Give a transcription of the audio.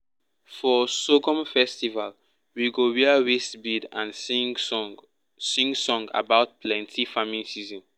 for sorghum festival we go wear waist bead and sing song sing song about plenty farming season.